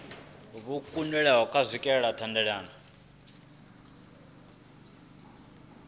vho kundwa u swikelela thendelano